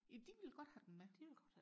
ja de ville godt have den med